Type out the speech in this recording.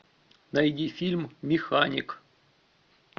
найди фильм механик